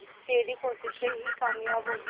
तेरी कोशिशें ही कामयाब होंगी